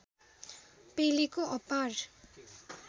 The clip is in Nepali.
पेलेको अपार